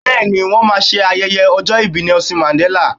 Bẹ́ẹ̀ ni, wọ́n máa ṣe ayẹyẹ ọjọ́ ìbí Nelson Mandella.